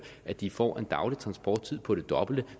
at de får en daglig transporttid på det dobbelte